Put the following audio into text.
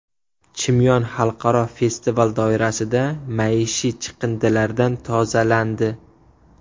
Chimyon xalqaro festival doirasida maishiy chiqindilardan tozalandi.